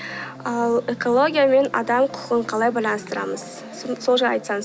ал экология мен адам құқығын қалай байланыстырамыз сол жайлы айтсаңыз